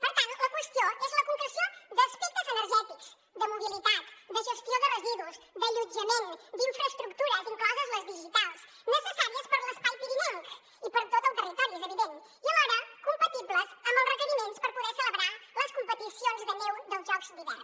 per tant la qüestió és la concreció d’aspectes energètics de mobilitat de gestió de residus d’allotjament d’infraestructures incloses les digitals necessàries per a l’espai pirinenc i per a tot el territori és evident i alhora compatibles amb els requeriments per poder celebrar les competicions de neu dels jocs d’hivern